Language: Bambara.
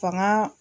Fanga